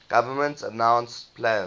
government announced plans